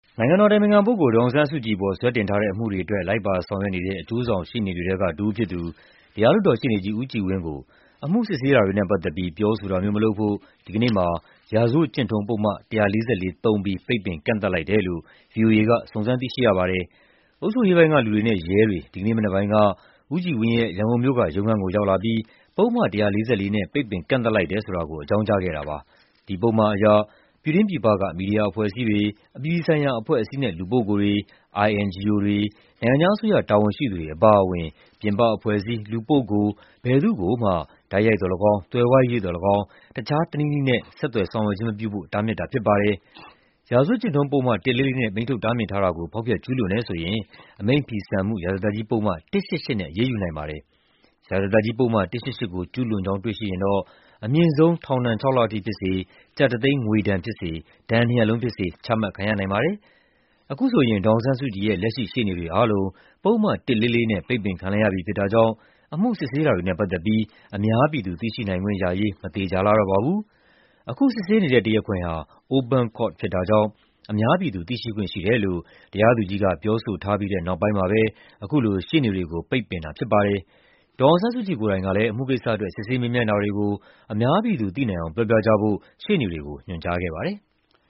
နိုင်ငံတော်အတိုင်ပင်ခံပုဂ္ဂိုလ် ဒေါ်အောင်ဆန်းစုကြည်အပေါ် စွဲတင်ထားတဲ့ အမှုတွေအတွက် လိုက်ပါဆောင်ရွက်နေတဲ့ အကျိုးဆောင်ရှေ့နေတွေထဲက တဦးဖြစ်သူ တရားလွှတ်တော်ရှေ့နေကြီး ဦးကြည်ဝင်းကို အမှုစစ်ဆေးတာတွေနဲ့ ပတ်သက်ပြီး ပြောဆိုတာမျိုး မလုပ်ဖို့ ဒီကနေ့မှာ ရာဇဝတ်ကျင့်ထုံးပုဒ်မ ၁၄၄ သုံးပြီး ပိတ်ပင် ကန့်သတ်လိုက်တယ်လို့ ဗွီအိုအေက စုံစမ်းသိရှိရပါတယ်။ အုပ်ချုပ်ရေးပိုင်းကလူတွေနဲ့ ရဲတွေ ဒီကနေ့မနက်ပိုင်းက ဦးကြည်ဝင်းရဲ့ ရန်ကုန်မြို့က ရုံးခန်းကို ရောက်လာပြီး ပုဒ်မ ၁၄၄ နဲ့ ပိတ်ပင်ကန့်သတ်လိုက်တယ် ဆိုတာကို အကြောင်းကြားခဲ့တာပါ။ ဒီပုဒ်မအရ ပြည်တွင်းပြည်ပက မီဒီယာအဖွဲ့အစည်းတွေ၊ အပြည်ပြည်ဆိုင်ရာ အဖွဲ့အစည်းနဲ့ လူပုဂ္ဂိုလ်တွေ၊ INGO တွေ၊ နိုင်ငံခြားအစိုးရ တာဝန်ရှိသူတွေ အပါအဝင် ပြင်ပအဖွဲ့အစည်း၊ လူပုဂ္ဂိုလ် ဘယ်သူ့ကိုမှ တိုက်ရိုက်သော်လည်းကောင်း၊ သွယ်ဝိုက်၍သော်လည်းကောင်း တခြားတနည်းနည်းနဲ့ ဆက်သွယ်ဆောင်ရွက်ခြင်း မပြုဖို့ တားမြစ်တာ ဖြစ်ပါတယ်။ ရာဇဝတ်ကျင့်ထုံးပုဒ်မ ၁၄၄ နဲ့ အမိန့်ထုတ် တားမြစ်ထားတာကို ဖောက်ဖျက် ကျူးလွန်တယ်ဆိုရင် အမိန့်ဖီဆန်မှု ရာဇသတ်ကြီးပုဒ်မ ၁၈၈ နဲ့ အရေးယူနိုင်ပါတယ်။ ရာဇသတ်ကြီးပုဒ်မ ၁၈၈ ကို ကျူးလွန်ကြောင်း တွေ့ရှိရင် အမြင့်ဆုံး ထောင်ဒဏ် ၆ လအထိဖြစ်စေ၊ ကျပ်တသိန်း ငွေဒဏ်ဖြစ်စေ၊ ဒဏ်နှစ်ရပ်လုံးဖြစ်စေ ချမှတ်ခံရနိုင်ပါတယ်။ အခုဆိုရင် ဒေါ်အောင်ဆန်းစုကြည်ရဲ့ လက်ရှိ ရှေ့နေတွေအားလုံး ပုဒ်မ ၁၄၄ နဲ့ ပိတ်ပင်ခံလိုက်ရပြီ ဖြစ်တာကြောင့် အမှုစစ်ဆေးတာတွေနဲ့ ပတ်သက်ပြီး အများပြည်သူ သိရှိနိုင်ခွင့်ရရေး မသေချာလှတော့ပါဘူး။ အခုစစ်ဆေးနေတဲ့ တရားခွင်ဟာ Open Court ဖြစ်တာကြောင့် အများပြည်သူ သိရှိခွင့်ရှိတယ်လို့ တရားသူကြီးက ပြောဆိုထားပြီးတဲ့နောက်မှာပဲ အခုလို ရှေ့နေတွေကို ပိတ်ပင်ထားတာ ဖြစ်ပါတယ်။ ဒေါ်အောင်ဆန်းစုကြည် ကိုယ်တိုင်ကလည်း အမှုကိစ္စအတွက် စစ်ဆေး မေးမြန်းတာတွေကို အများပြည်သူ သိနိုင်အောင် ပြောပြကြဖို့ ရှေ့နေတွေကို ညွှန်ကြားခဲ့ပါတယ်။